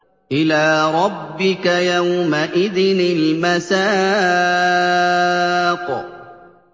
إِلَىٰ رَبِّكَ يَوْمَئِذٍ الْمَسَاقُ